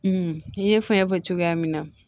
i ye fɛn fɔ cogoya min na